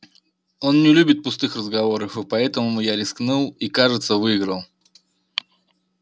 он не любит пустых разговоров и поэтому я рискнул и кажется выиграл